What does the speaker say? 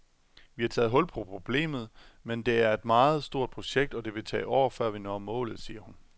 Vi har taget hul på problemet, men det er et meget stort projekt, og det vil tage år, før vi når målet, siger hun.